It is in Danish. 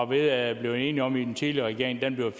ved at blive enige om i den tidligere regering bliver